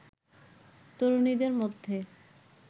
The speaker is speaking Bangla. তরুণীদের মধ্যে